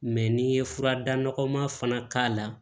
Mɛ n'i ye furadɔkɔma fana k'a la